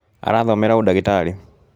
Arathomera ũndagĩtarĩ